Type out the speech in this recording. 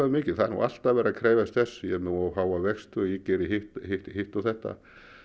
mikið það er nú alltaf verið að krefjast þess ég er með of háa vexti og ég geri hitt hitt hitt og þetta